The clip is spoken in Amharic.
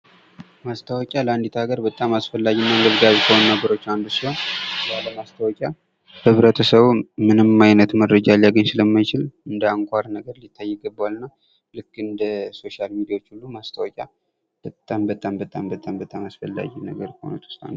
ማስታወቂያ ለአንዲት ሀገር በጣም አስፈላጊ እና አንገብጋቢ ከሆኑ ነገሮች አንዱ ነው ሲሆን ፤ ያለ ማስታወቂያ ኅብረተሰቡ ምንም ዓይነት መረጃ ሊያገኝ ስለማይችል እንደ አንኳር ነገር ሊታይ ይገባዋል ። እና ልክ እንደ ሶሻል ሚዲያዎች ሁሉ ማስታወቂያ በጣም በጣም በጣም በጣም አስፈላጊ ነገር ከሆኑት ውስጥ አንዱ ነው።